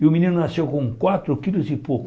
E o menino nasceu com quatro quilos e pouco.